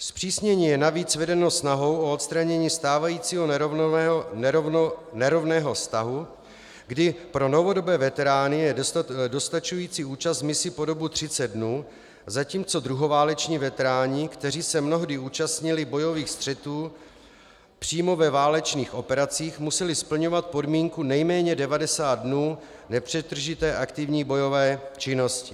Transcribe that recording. Zpřísnění je navíc vedeno snahou o odstranění stávajícího nerovného stavu, kdy pro novodobé veterány je dostačující účast v misi po dobu 30 dnů, zatímco druhováleční veteráni, kteří se mnohdy účastnili bojových střetů přímo ve válečných operacích, museli splňovat podmínku nejméně 90 dnů nepřetržité aktivní bojové činnosti.